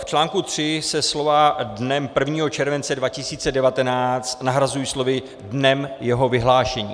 V článku 3 se slova "dnem 1. července 2019" nahrazují slovy "dnem jeho vyhlášení".